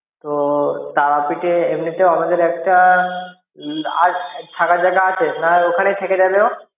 তো তারাপীঠ এ এমনিতেও আমাদের একটা আছ্ থাকার জায়গা আছে তা ঐখানে থেকে যাবে ও